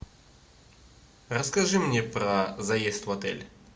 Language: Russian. расскажи мне про заезд в отель